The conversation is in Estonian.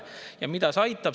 Ja mida see aitab?